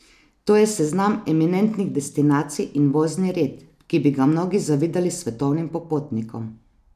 To je seznam eminentnih destinacij in vozni red, ki bi ga mnogi zavidali svetovnim popotnikom.